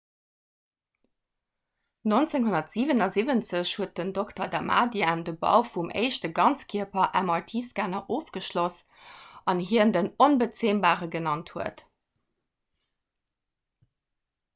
1977 huet den dr. damadian de bau vum éischte 'ganzkierper'-mrt-scanner ofgeschloss deen hien den 'onbezämbare' genannt huet